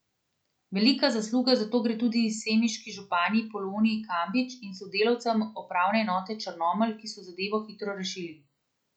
Velika zasluga za to gre tudi semiški županji Poloni Kambič in sodelavcem upravne enote Črnomelj, ki so zadevo hitro rešili.